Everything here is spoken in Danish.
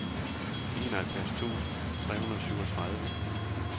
enoghalvfjerds tusind tre hundrede og syvogtredive